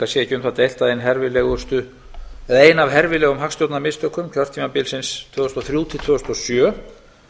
að ein herfilegustu eða ein af herfilegum hagstjórnarmistökum kjörtímabilsins tvö þúsund og þrjú til tvö þúsund og sjö